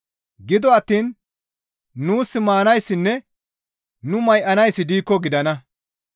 Gido attiin nuus maanayssinne nu may7anayssi diikko gidana.